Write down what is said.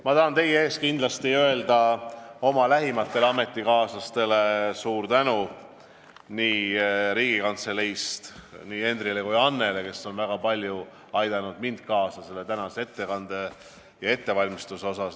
Ma tahan teie ees kindlasti öelda suur tänu oma lähimatele ametikaaslastele Riigikantseleist, nii Henryle kui ka Annele, kes on väga palju aidanud kaasa selle tänase ettekande ettevalmistamisele.